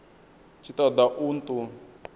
tshi ṱo ḓa u ṱun